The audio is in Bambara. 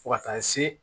Fo ka taa se